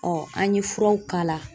an ye furaw k'a la.